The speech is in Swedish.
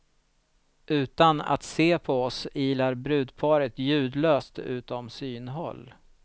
Utan att se på oss ilar brudparet ljudlöst utom synhåll.